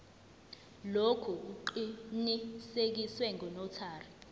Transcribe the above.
lokhu kuqinisekiswe ngunotary